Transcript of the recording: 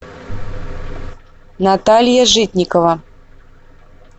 наталья житникова